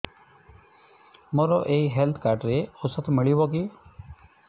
ମୋର ଏଇ health card ରେ ଔଷଧ ମିଳିବ କି